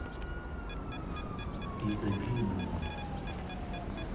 изобильному